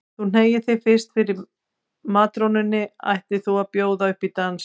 Þú hneigir þig fyrst fyrir matrónunni ætlir þú að bjóða upp í dans.